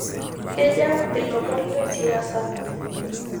kejaa ilomon le siasa